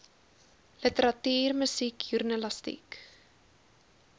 literatuur musiek joernalistiek